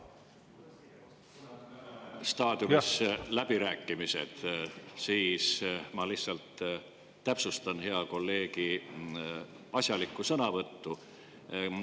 läbirääkimiste staadiumis, siis ma lihtsalt täpsustan hea kolleegi asjalikku sõnavõttu.